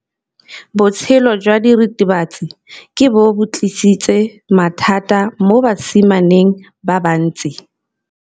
Botshelo jwa diritibatsi ke bo tlisitse mathata mo basimaneng ba bantsi.